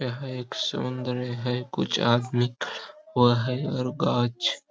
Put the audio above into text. यह एक समुंद्र है कुछ आदमी वहा है और गांच --